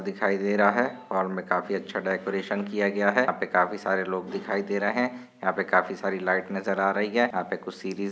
दिखाई दे रहा है। हॉल मे काफी अच्छा डेकोरेशन किया गया है। यहा पे काफी सारे लोग दिखाई दे रहे है। यहा पे काफी सारी लाइट नजर आ रही है। यहा पे कुछ सिरीज़ --